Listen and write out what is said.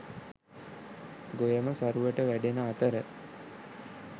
ගොයම සරුවට වැඩෙන අතර